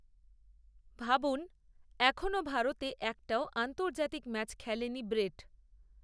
ভাবুন, এখনও ভারতে একটাও আন্তর্জাতিক ম্যাচ খেলেনি ব্রেট